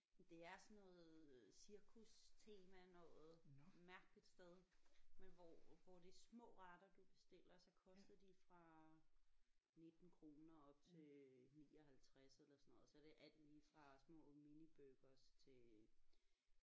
Men det er sådan noget cirkustema noget mærkeligt sted men hvor hvor det er små retter du bestiller så koster de fra 19 kroner op til 59 eller sådan noget så er det alt lige fra små miniburgers til